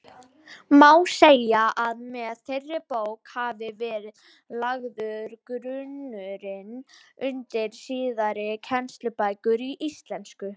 Má segja að með þeirri bók hafi verið lagður grunnurinn undir síðari kennslubækur í íslensku.